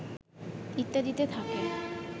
ইত্যাদিতে থাকে